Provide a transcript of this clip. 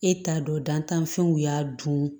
E t'a dɔn dantanfɛnw y'a dun